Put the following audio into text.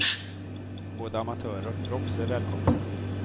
Både amatörer och proffs är välkomna.